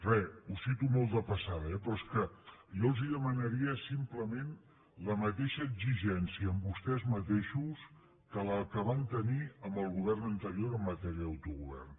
re ho cito molt de passada eh però és que jo els demanaria simplement la mateixa exigència amb vostès mateixos que la que van tenir amb el govern anterior en matèria d’autogovern